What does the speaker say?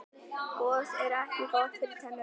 gos er ekki gott fyrir tennurnar